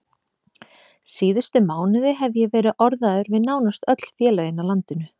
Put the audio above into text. Síðustu mánuði hef ég verið orðaður við nánast öll félögin á landinu.